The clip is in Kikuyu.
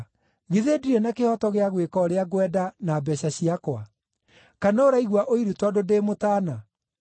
Githĩ ndirĩ na kĩhooto gĩa gwĩka ũrĩa ngwenda na mbeeca ciakwa? Kana ũraigua ũiru tondũ ndĩ mũtaana?’